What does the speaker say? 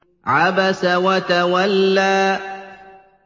عَبَسَ وَتَوَلَّىٰ